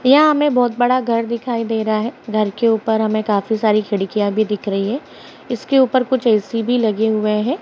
यां हमें बहुत बड़ा घर दिखाई दे रहा है घर के ऊपर हमे काफी सारी खिड़कियां भी दिख रही है इसके ऊपर कुछ ए.सी. भी लगे हुएं हैं।